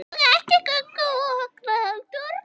Og ekki Gugga og Högna heldur.